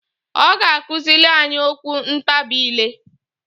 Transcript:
Ọ ga akụzịlị anyị okwu ntabị ile.